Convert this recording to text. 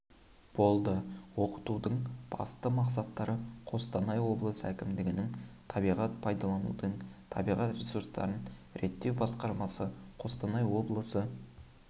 болды оқытудың басты мақсаттары қостанай облысы әкімдігінің табиғат пайдаланудың табиғат ресурстарын реттеу басқармасы қостанай облысы